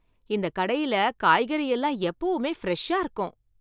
இந்த கடையில காய்கறி எல்லாம் எப்பவுமே ஃபிரெஷா இருக்கும்.